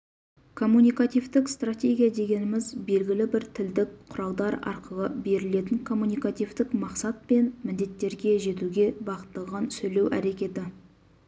коммуникативтік стратегия дегеніміз белгілі бір тілдік құралдар арқылы берілетін коммуникативтік мақсат пен міндеттерге жетуге бағытталған сөйлеу әрекеті